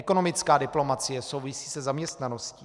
Ekonomická diplomacie souvisí se zaměstnaností.